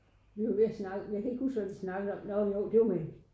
Vi var ved at snak men jeg kan ikke huske hvad vi snakkede om nåh det var med